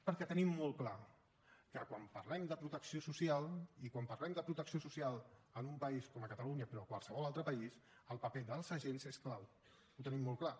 perquè tenim molt clar que quan parlem de protecció social i quan parlem de protecció social en un país com catalunya però a qualsevol altre país el paper dels agents és clau ho tenim molt clar